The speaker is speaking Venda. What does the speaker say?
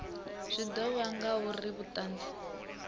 zwi ḓo ya ngauri vhuṱanzi